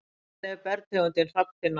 Hvernig er bergtegundin hrafntinna á litinn?